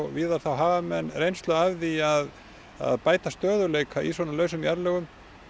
víðar hafa menn reynslu af því að að bæta stöðugleika í svona lausum jarðlögum